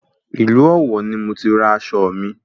Ìlú Ọ̀wọ̀ ni mo ti ra aṣọ mi